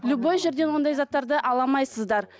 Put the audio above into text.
любой жерден ондай заттарды ала алмайсыздар